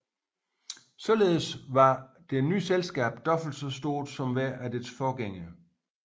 Således var det nye selskab dobbelt så stort som hver af dets forgængere